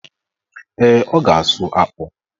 Ee, ọ ga-asụ akpụ.